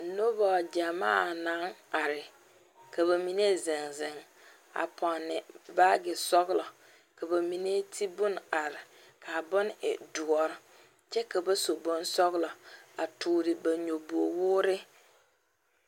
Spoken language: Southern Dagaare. Noba gyamaa naŋ are are ka ba mine zeŋ zeŋ a ponne baage sɔglɔ ka ba mine ti bon are kaa bon e doɔre. kyɛ ka ba su bonsɔglɔ a tɔɔre ba nyobogi wɔɔre .